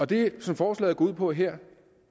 det som forslaget går ud på her